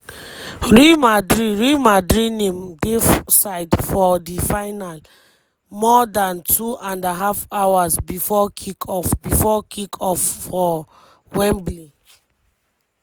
real madrid real madrid name dey for side for di final more dan two and a half hours before kick-off before kick-off for wembley.